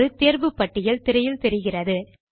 ஒரு தேர்வு பட்டியல் திரையில் தெரிகிறது